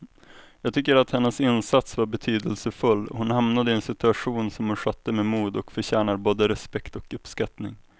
Jag tycker att hennes insats var betydelsefull, hon hamnade i en situation som hon skötte med mod och förtjänar både respekt och uppskattning.